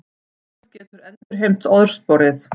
Ísland getur endurheimt orðsporið